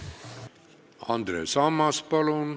Andres Ammas, palun!